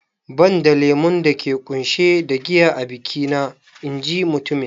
"Banda lemon dake ƙunshe da giya a biki na " in ji mutumin